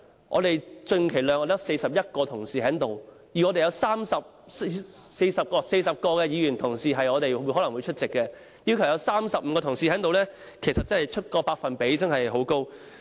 我們極其量只有41名同事在席，有約40名議員同事可能會出席，若要求有35名同事在席，百分比真的相當高。